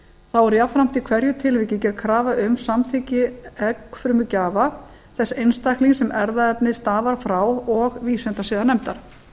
þá er jafnframt í hverju tilviki gerð krafa um samþykki eggfrumugjafa þess einstaklings sem erfðaefnið stafar frá og vísindasiðanefndar